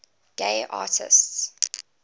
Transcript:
gay artists